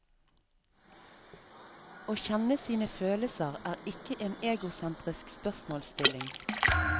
Å kjenne sine følelser er ikke en egosentrisk spørsmålsstilling.